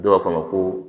Dɔw b'a fɔ a ma ko